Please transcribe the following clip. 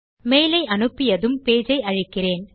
mail ஐ அனுப்பியதும் page ஐ அழிக்கிறேன்